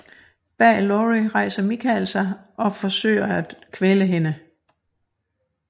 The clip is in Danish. Bag Laurie rejser Michael sig og forsøger at kvæle hende